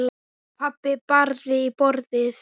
Pabbi barði í borðið.